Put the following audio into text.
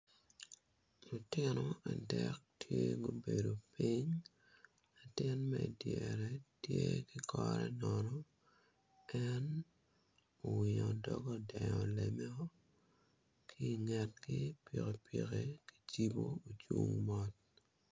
Lutino adek tye ma obedo piny latin ma idyere tye ki kore nono en owingo doge odengo lemeo ki ingetgi pikipiki kicibo ocung mot.